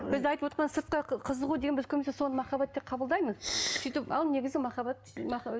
біз айтып отырған сыртқа қызығу деген біз көбінесе соны махаббат деп қабылдаймыз сөйтіп ал негізі махаббат